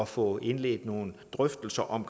få indledt nogle drøftelser om